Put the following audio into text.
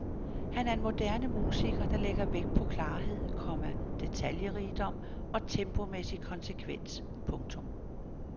Han er en moderne musiker der lægger vægt på klarhed, komma detaljerigdom og tempomæssig konsekvens. punktum